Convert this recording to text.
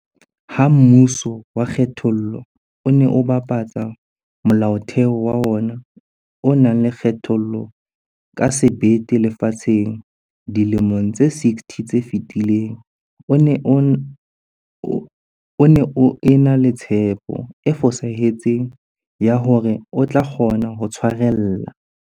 Ha mmuso wa kgethollo o ne o bapatsa Molaotheo wa ona o nang le kgethollo ka sebete lefatsheng dilemong tse 60 tse fetileng, o ne o ena le tshepo e fosahetseng ya hore o tlo kgona ho tshwarella.